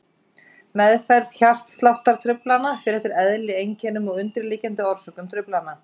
Meðferð hjartsláttartruflana fer eftir eðli, einkennum og undirliggjandi orsökum truflana.